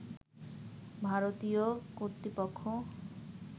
ভারতীয় কর্তৃপক্ষ